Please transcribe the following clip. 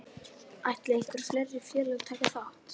Ætla einhver fleiri félög að taka þátt?